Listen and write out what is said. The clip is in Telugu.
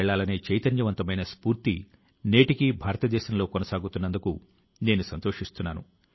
ప్రియమైన నా దేశవాసులారా మన భారతదేశం చాలా అసాధారణమైన ప్రతిభావంతుల తో సంపన్నమైంది